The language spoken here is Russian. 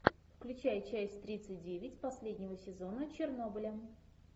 включай часть тридцать девять последнего сезона чернобыля